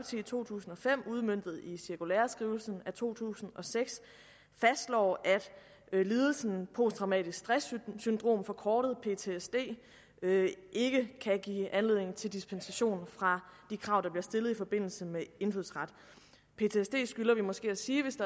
i to tusind og fem udmøntet i cirkulæreskrivelsen af to tusind og seks fastslår at lidelsen posttraumatisk stress syndrom forkortet ptsd ikke kan give anledning til dispensation fra de krav der bliver stillet i forbindelse med meddelelse af indfødsret vi skylder måske at sige hvis